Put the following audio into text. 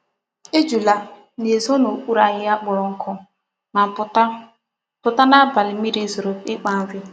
Ejula na-ezo n'ukpuru ahihia kporo nku ma puta puta n'abali mmiri zoro ikpa nri.